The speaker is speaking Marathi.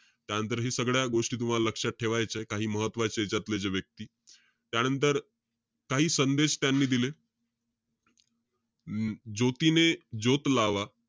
त्यानंतर हे सगळ्या गोष्टी तुम्हाला लक्षात ठेवायच्यात. काही महत्वाचे यांच्यातले जे व्यक्ती. त्यानंतर, काही संदेश त्यांनी दिले. अं ज्योतीने ज्योत लावा.